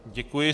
Děkuji.